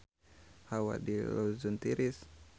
Hawa di Luzon tiris